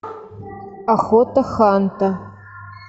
охота ханта